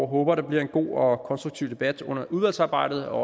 håber der bliver en god og konstruktiv debat under udvalgsarbejdet og